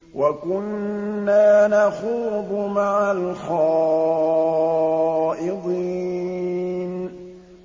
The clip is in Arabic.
وَكُنَّا نَخُوضُ مَعَ الْخَائِضِينَ